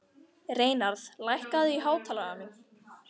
Reynarð, lækkaðu í hátalaranum.